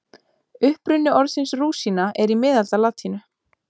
Uppruni orðsins rúsína er í miðaldalatínu.